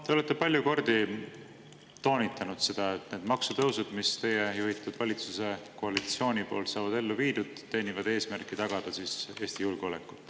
Te olete palju kordi toonitanud seda, et need maksutõusud, mis teie juhitud valitsuskoalitsiooni poolt saavad ellu viidud, teenivad eesmärki tagada Eesti julgeolek.